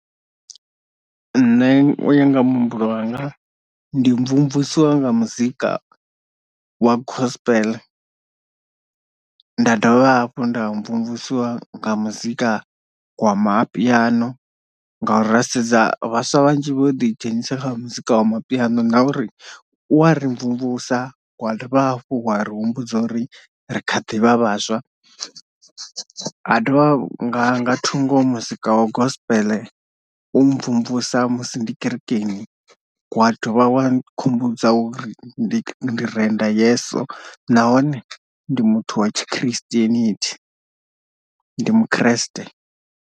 Nṋe uya nga muhumbulo wanga ndi mvumvusiwa nga muzika wa gospel nda dovha hafhu nda mvumvusiwa nga muzika wa mapiano ngauri ra sedza vhaswa vhanzhi vho ḓi dzhenisa kha muzika wa mapiano na uri u wa ri mvumvusa wa dovha hafhu wa ri humbudza uri ri kha ḓivha vhaswa, ha dovha nga thungo muzika wa gospel u mvumvusa musi ndi kerekeni wa dovha wa khumbudza uri ndi renda yeso nahone ndi muthu wa tshi Christianity ndi mukhreste.